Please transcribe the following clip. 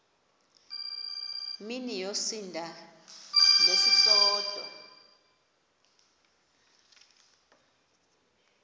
mini yosinda ngesisodwa